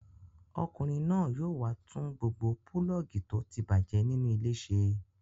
Ọkùnrin náà yóò wá tún gbogbo pulọ́ọ́gì tó ti bàjẹ́ nínú ilé ṣe.